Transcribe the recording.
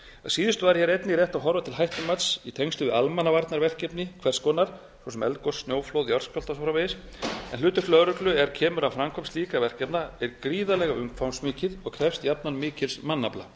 síðustu væri hér einnig rétt að horfa til hættumats í tengslum við almannavarnaverkefni hvers konar svo sem eldgos snjóflóð jarðskjálfta og svo framvegis en hlutverk lögreglu er kemur að framkvæmd slíkra verkefna er gríðarlega umfangsmikið og krefst jafnan mikils mannafla